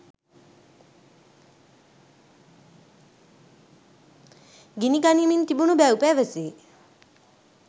ගිනිගනිමින් තිබුණු බැව් පැවසේ